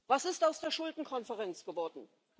Was ist aus der Schuldenkonferenz geworden?